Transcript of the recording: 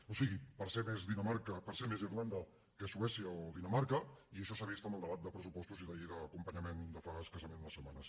o sigui per ser més irlanda que suècia o dinamarca i això s’ha vist en el debat de pressupostos i la llei d’acompanyament de fa escassament unes setmanes